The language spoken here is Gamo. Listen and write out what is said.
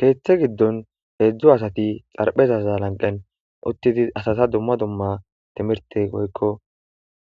Keeththe giddon heedzdzu asati xarphezaza lanqen uttidi asata dumma dumma timirte hoykko